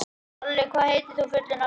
Olli, hvað heitir þú fullu nafni?